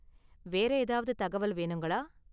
வேற ஏதாவது தகவல் வேணுங்களா?